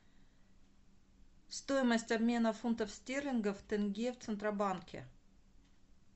стоимость обмена фунтов стерлингов в тенге в центробанке